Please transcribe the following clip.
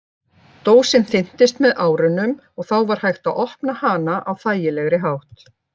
Dósin þynntist með árunum og þá var hægt að opna hana á þægilegri hátt.